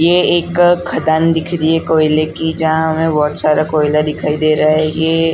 ये एक खदान दिख रही है कोयले की जहाँ हमे बहुत सारा कोयला दिखाई दे रहा हे ये।